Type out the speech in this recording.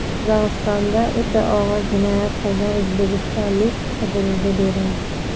Qozog‘istonda o‘ta og‘ir jinoyat qilgan o‘zbekistonlik qidiruvga berildi.